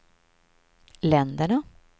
länderna